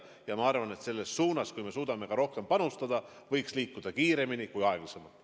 Aga ma arvan, et selles suunas, kus me suudame ka rohkem panustada, võiks liikuda pigem kiiremini kui aeglasemalt.